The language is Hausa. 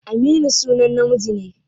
Aminu sunan namiji ne.